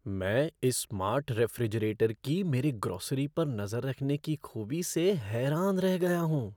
मैं इस smart refrigerator की मेरी ग्रोसरी पर नज़र रखने की खूबी से हैरान रह गया हूँ।